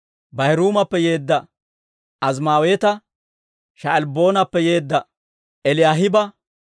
Baahiruumappe yeedda Azimaaweeta, Sha'albboonappe yeedda Eliyaahiba,